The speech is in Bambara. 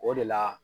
O de la